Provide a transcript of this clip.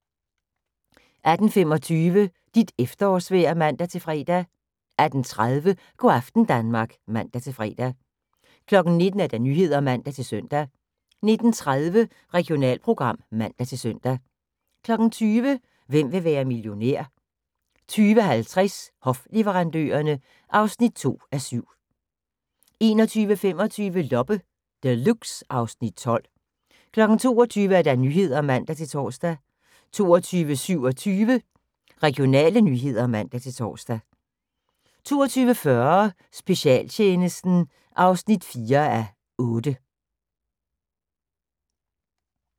18:25: Dit efterårsvejr (man-fre) 18:30: Go' aften Danmark (man-fre) 19:00: Nyhederne (man-søn) 19:30: Regionalprogram (man-søn) 20:00: Hvem vil være millionær? 20:50: Hofleverandørerne (2:7) 21:25: Loppe Deluxe (Afs. 12) 22:00: Nyhederne (man-tor) 22:27: Regionale nyheder (man-tor) 22:40: Specialtjenesten (4:8)